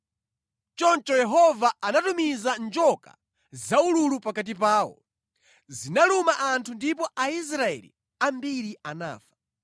Choncho Yehova anatumiza njoka zaululu pakati pawo. Zinaluma anthu ndipo Aisraeli ambiri anafa.